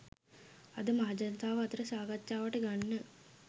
අද මහජනතාව අතර සාකච්ඡාවට ගන්න